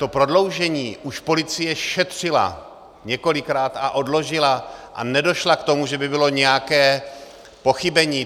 To prodloužení už policie šetřila několikrát a odložila a nedošla k tomu, že by bylo nějaké pochybení.